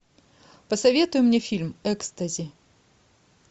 посоветуй мне фильм экстази